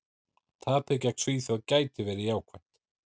Tapið gegn Svíþjóð gæti verið jákvætt.